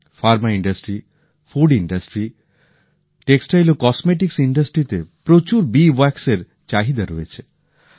ওষুধ তৈরি শিল্প খাদ্য শিল্প বস্ত্র ও প্রসাধন সামগ্রী শিল্প౼ সর্বত্র মৌচাকের মোমের চাহিদা রয়েছে